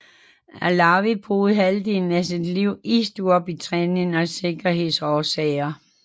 Allawi boede halvdelen af sit liv i Storbritannien af sikkerhedsårsager